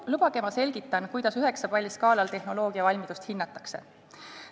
Lubage ma selgitan, kuidas üheksapalliskaalal tehnoloogia valmidust hinnatakse.